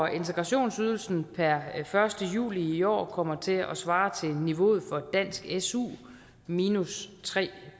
integrationsydelsen per første juli i år kommer til at svare til niveauet for dansk su minus tre